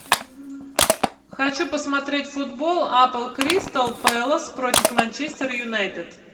хочу посмотреть футбол апл кристал пэлас против манчестер юнайтед